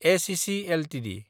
ACC Ltd